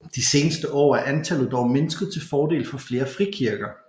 De seneste år er antallet dog mindsket til fordel for flere frikirker